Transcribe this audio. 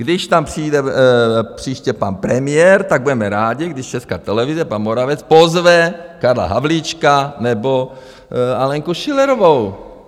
Když tam přijde příště pan premiér, tak budeme rádi, když Česká televize, pan Moravec, pozve Karla Havlíčka nebo Alenku Schillerovou.